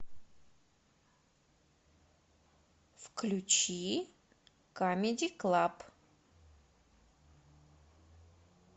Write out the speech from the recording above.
включи камеди клаб